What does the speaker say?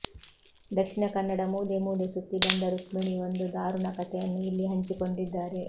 ದಕ್ಷಿಣ ಕನ್ನಡ ಮೂಲೆ ಮೂಲೆ ಸುತ್ತಿ ಬಂದ ರುಕ್ಮಿಣಿ ಒಂದು ಧಾರುಣ ಕಥೆಯನ್ನು ಇಲ್ಲಿ ಹಂಚಿಕೊಂಡಿದ್ದಾರೆ